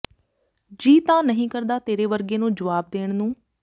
ਜੀ ਤਾਂ ਨਹੀਂ ਕਰਦਾ ਤੇਰੇ ਵਰਗੇ ਨੂੰ ਜਵਾਬ ਦੇਣ ਨੂੰ